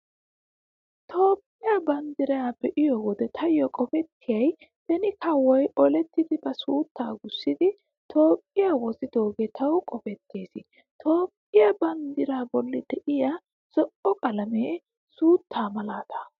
Toophphiyaa banddiraa be'iyo wode taayyo qopettiyay beni kawoy olettidi ba suuttaa gussidi Toophphiyaa wozidoogee tawu qopettees. Toophphiyaa banddiraa bolli diyaa zo'o qalamee suuttaa malaata.